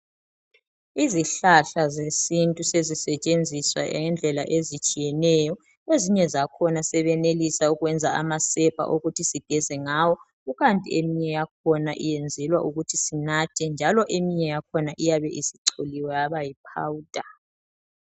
Izihlahla zesintu sezisetshenziswa ngendlela ezitshiyeneyo, ezinye zakhona sebenelisa ukwenza amasepa ukuthi sigeze ngawo, kukanti eminye yakhona iyenzelwa ukuthi sinathe njalo eminye yakhona iyabe isicholiwe yaba yi"powder".